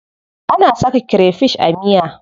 Ana saka krefish a miya.